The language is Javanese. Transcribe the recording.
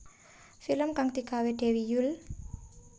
Film kang digawé Dewi Yull